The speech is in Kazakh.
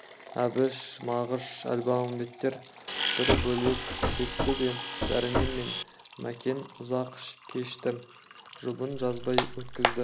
әбіш мағыш әлмағамбеттер бір бөлек кетті де дәрмен мен мәкен ұзақ кешті жұбын жазбай өткізді